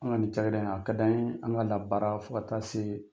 Anw ka nin cakɛda in, a ka d'an ye an ka labaara fo ka taa se